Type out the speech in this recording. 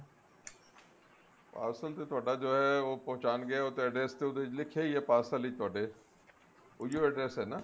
parcel ਤੇ ਤੁਹਾਡਾ ਜਿਹੜਾ ਹੈ ਉਹ ਪਹੁੰਚਾਣਗੇ ਉਹ ਤੇ address ਤੇ ਉਹਦੇ ਚ ਲਿੱਖਿਆ ਈ ਐ parcel ਵਿੱਚ ਤੁਹਡੇ ਉਹੀ ਓ address ਹੈ ਨਾ